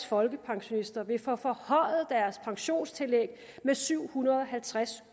folkepensionister vil få forhøjet deres pensionstillæg med syv hundrede og halvtreds